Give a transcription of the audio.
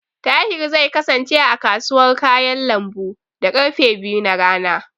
Tahir zai kasance, a kasuwar kayan lambu, da karfe biyu na rana.